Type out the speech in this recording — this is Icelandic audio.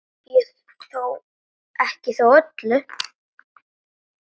Ekki þó öllum.